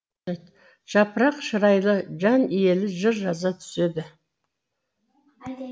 жапырақ шырайлы жан иелі жыр жаза түседі